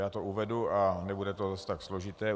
Já to uvedu a nebude to zase tak složité.